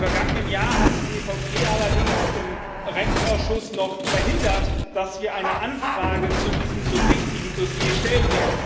Im vergangenen Jahr hat die EVP allerdings im Rechtsausschuss noch verhindert, dass wir eine Anfrage zu diesem so wichtigen Dossier stellen.